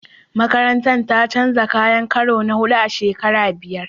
Makarantar ta canja kayan karo na huɗu a shekara biyar.